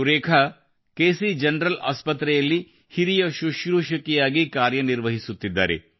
ಸುರೇಖಾ ಅವರು K C general ಆಸ್ಪತ್ರೆಯಲ್ಲಿ ಹಿರಿಯ ಶುಶ್ರೂಷಕಿಯಾಗಿ ಕಾರ್ಯನಿರ್ವಹಿಸುತ್ತಿದ್ದಾರೆ